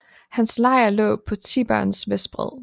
Hans lejr lå på Tiberens vestbred